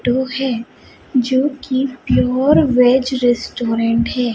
तो है जो की प्योर वेज रेस्टोरेंट है।